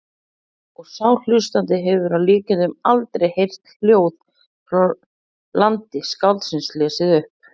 Og sá hlustandi hefur að líkindum aldrei heyrt ljóð frá landi skáldsins lesið upp.